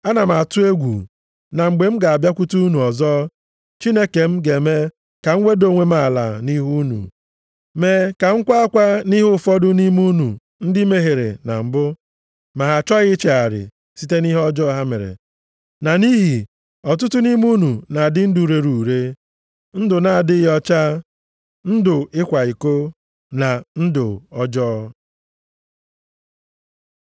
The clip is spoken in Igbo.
Ana m atụ egwu na mgbe m ga-abịakwute unu ọzọ, Chineke m ga-eme ka m weda onwe m ala nʼihu unu, mee ka m kwa akwa nʼihi ụfọdụ nʼime unu ndị mehiere na mbụ, ma ha achọghị ichegharị site nʼihe ọjọọ ha mere, na nʼihi ọtụtụ nʼime unu na-adị ndụ rere ure, ndụ na-adịghị ọcha, ndụ ịkwa iko, na ndụ ọjọọ.